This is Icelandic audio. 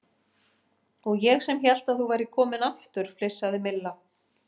Og ég sem hélt að þú værir kominn aftur flissaði Milla.